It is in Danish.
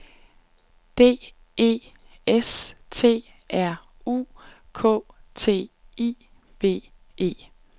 D E S T R U K T I V E